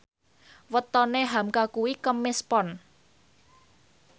wetone hamka kuwi Kemis Pon